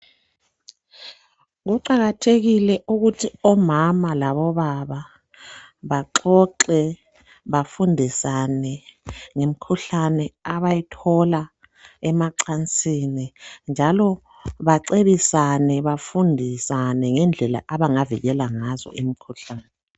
Kuqakathekile ukuthi omama labobaba baxoxe bafundisane ngemkhuhlane abayithola emacansini njalo bacebisane bafundisane ngendlela abangavikela ngazo imikhuhlane.